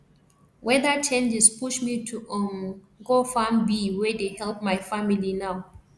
weather changes push me to um go farm bee wey dey help my family now